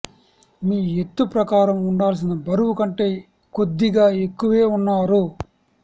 మీ ఎత్తు ప్రకారం ఉండాల్సిన బరువు కంటే కొద్దిగా ఎక్కువే ఉన్నారు